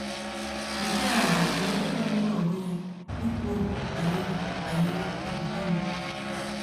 Nke a bụ ohere magburu onwe ya ikwu okwu banyere banyere okwukwe m! ’